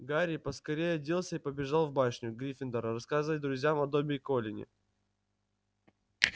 гарри поскорее оделся и побежал в башню гриффиндора рассказать друзьям о добби и колине